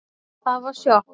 Það var sjokk